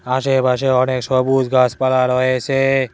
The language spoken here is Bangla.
আশেপাশে অনেক সবুজ গাছপালা রয়েছে।